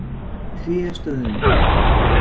Tréstöðum